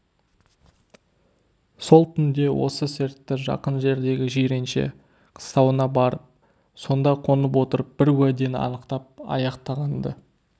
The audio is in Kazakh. сол түнде осы сертті жақын жердегі жиренше қыстауына барып сонда қонып отырып бар уәдені анықтап аяқтаған-ды